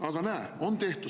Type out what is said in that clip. Aga näe, on nii tehtud!